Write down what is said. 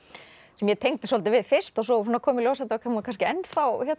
sem ég tengdi svolítið við fyrst og svo kom í ljós að hún var kannski ennþá